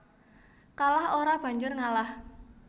Kalah ora banjur ngalah